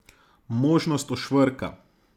Možnost ošvrka.